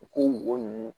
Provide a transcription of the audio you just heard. U k'u mɔgɔ ninnu